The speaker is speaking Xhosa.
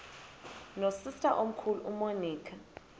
nosister omkhulu umonica